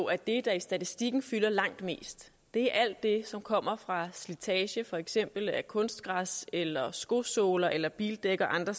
er det der i statistikken fylder langt mest er alt det som kommer fra slitage for eksempel af kunstgræs eller skosåler eller bildæk og andre